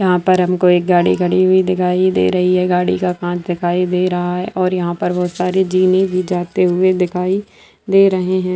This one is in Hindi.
यहां पर हमको एक गाड़ी खड़ी हुई दिखाई दे रही है गाड़ी का कांच दिखाई दे रहा है और यहां पर बहुत सारी जिनी भी जाते हुए दिखाई दे रहे है।